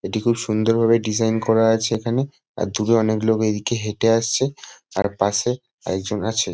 এটি খুব সুন্দর ভাবে ডিজাইন করা আছে এখানে। আর দূরে অনেক লোক এদিকে হেঁটে আসছে। তার পাশে এক জন আছে।